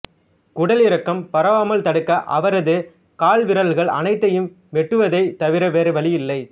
குடலிறக்கம் பரவாமல் தடுக்க அவரது கால்விரல்கள் அனைத்தையும் வெட்டுவதைத் தவிர வேறு வழியில்லை